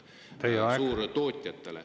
Teie aeg!